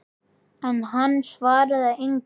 En hann svaraði engu.